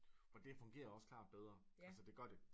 Og det fungerer også klart bedre altså det gør det